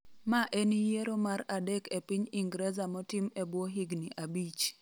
Ma en yiero mar adek e piny Ingreza motim ebwo higni abich